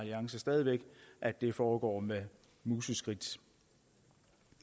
alliance stadig væk at det foregår med museskridt